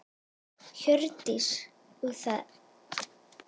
Hjördís: Og er það nóg?